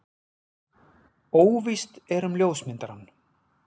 Óvíst er um ljósmyndarann.